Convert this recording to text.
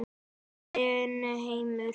Horfinn heimur.